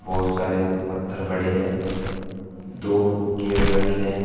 बहुत सारे पत्थर पड़े हैं दो गेट रखें हैं।